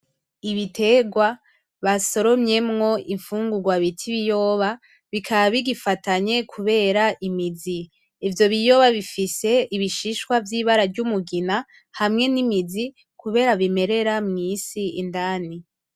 Ibiterwa basoromyemwo ibifungugwa bita ibiyoba bikaba bigifatanye kubera imizi ivyo biyoba bifise ibishishwa vy,ibara ryumugina hamwe n,imizi kubera bimerera mw,isi indani .